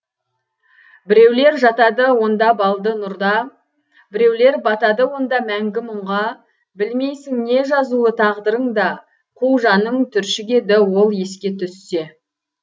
біреулер жатады онда балды нұрда біреулер батады онда мәңгі мұңға білмейсің не жазулы тағдырыңда қу жаның түршігеді ол еске түссе